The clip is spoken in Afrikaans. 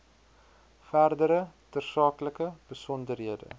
verdere tersaaklike besonderhede